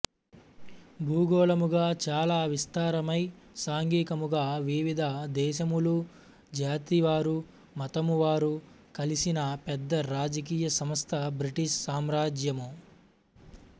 భూగోళముగా చాల విస్తారమై సాంఘికముగా వివిధదేశములు జాతివారు మతమువారు కలిసిన పెద్ద రాజకీయ సంస్థ బ్రిటిష్ సామ్రాజ్యము